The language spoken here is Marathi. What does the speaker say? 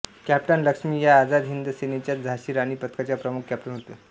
कॅप्टन लक्ष्मी या आझाद हिंद सेनेच्याच्या झाशी राणी पथकाच्या प्रमुख कॅप्टन होत्या